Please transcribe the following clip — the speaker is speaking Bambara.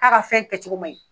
K'a ka fɛn kɛcogo man ɲi.